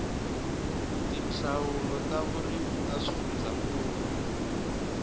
tindzawulo ta vurimi ta swifundzankulu